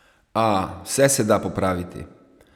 A vse se da popraviti!